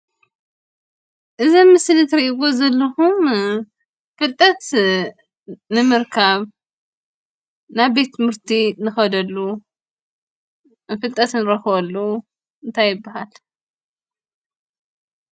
እዚ አብ ምስሊ ትሪእይዎ ዘለኩም ፍልጠት ንምርካብ፣ ናብ ቤት ትምህርቲ ንኽደሉ፣ ፍልጠት ንረክበሉ እንታይ ይበሃል?